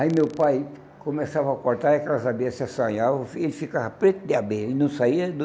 Aí meu pai começava a cortar e aquelas abelhas se assanhavam, e ele ficava preto de abelha, ele não saía do...